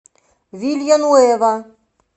вилья нуэва